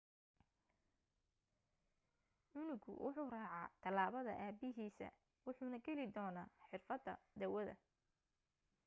canugu wuxuu raacaa talaabada aabahiisa wuxuuna geli doonaa xirfada dawada